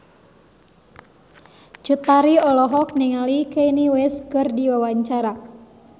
Cut Tari olohok ningali Kanye West keur diwawancara